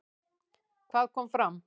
Hvað kom fram?